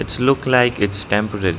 Its look like its temporary.